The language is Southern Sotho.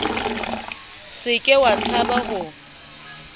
se ke wa tshaba ho